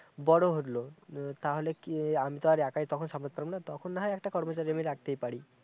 বড় হলো উম তাহলে কি আমি তো আর একাই তখন সামলাতে পারবনা তখন না হয় একটা কর্মচারী রাখতেই পারি